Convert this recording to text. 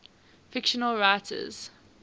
fictional writers